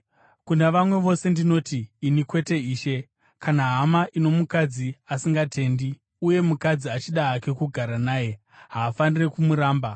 Kuna vamwe vose ndinoti (ini kwete Ishe): Kana hama ino mukadzi asingatendi uye mukadzi achida hake kugara naye, haafaniri kumuramba.